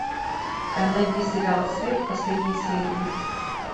найди сериал след последние серии